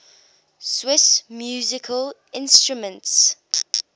swiss musical instruments